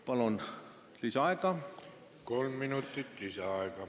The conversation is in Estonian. Palun lisaaega!